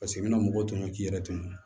Paseke i mana mɔgɔ tɔmi k'i yɛrɛ tɔmɔ